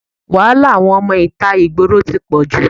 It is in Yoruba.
Wàhálà àwọn ọmọ ìta ìgboro tí pọ̀jù.